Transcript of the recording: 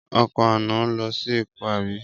Ọkọ̀ àná lọ sí Èkó àbí?